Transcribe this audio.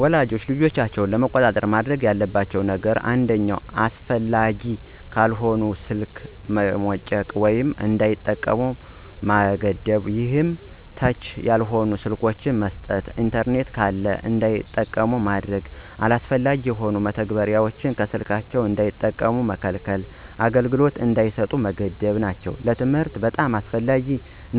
ወላጆች ልጆቻቸውን ለመቆጣጠር ማድረግ ያለባቸው ነገሮች አንደኛ አስፈላጊ ካልሆነ ስልክ መሞጨቅ ወይም እንዳይጠቀሙ መገደብ ይሄም ተች ያልሆኑ ስልኮችን መስጠት። ኢንተርኔት ካለም እንዳይጠቀሙ ማገድና አላስፈላጊ የሆኑ መተግበሪያዎችን ከስልካቸው እንዳይጠቀሙ መከልከልና አገልግሎት እንዳይሰጡ መገደብ ናቸው። ለትምህርት በጣም አስፈላጊ